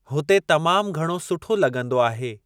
हुते तमाम घणो सुठो लॻंदो आहे।